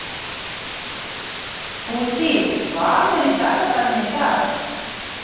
Fúsi, hvað er í dagatalinu í dag?